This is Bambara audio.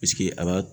a b'a